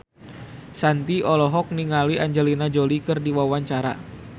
Shanti olohok ningali Angelina Jolie keur diwawancara